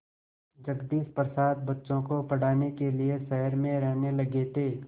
जगदीश प्रसाद बच्चों को पढ़ाने के लिए शहर में रहने लगे थे